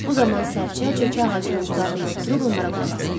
Bu zaman Sərçə cökə ağacının budağında oturub onlara qulaq asırdı.